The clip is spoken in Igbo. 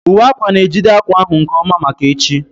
Uwe akwa na-ejide akwa ahụ nke ọma maka echi